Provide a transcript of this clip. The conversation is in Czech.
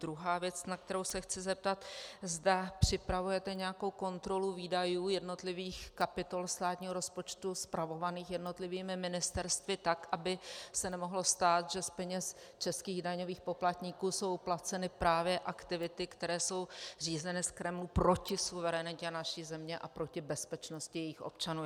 Druhá věc, na kterou se chci zeptat, zda připravujete nějakou kontrolu výdajů jednotlivých kapitol státního rozpočtu spravovaných jednotlivými ministerstvy tak, aby se nemohlo stát, že z peněz českých daňových poplatníků jsou placeny právě aktivity, které jsou řízeny z Kremlu proti suverenitě naší země a proti bezpečnosti jejích občanů.